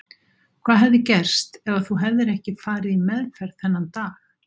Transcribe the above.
Hvað hefði gerst ef þú hefðir ekki farið í meðferð þennan dag?